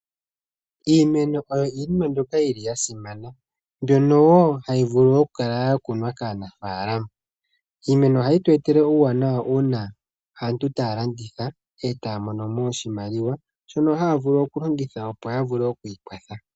Iimeno yo iinima mbyoka yasimana mbyono hayi vulu oku kala yakunwa kaanafaalama. Iimeno ohayi tu etele uuwanawa uuna aantu taya landitha, etaya mono mo oshimaliwa shono haya vulu okulongitha opo yavule okwiikwatha.